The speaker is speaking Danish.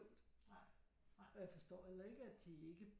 Og jeg forstår heller ikke at de ikke